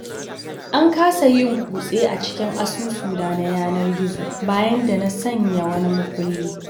An kasa yin kutse a cikin asusuna na yanar-gizo, bayan da na sanya wani makulli.